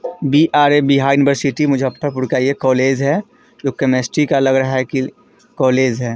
BRA. Bihar university Muzaffarpur का यह college है। जो केमिस्ट्री का लग रहा है की कॉलेज है।